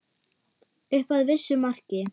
Upp að vissu marki.